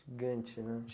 né?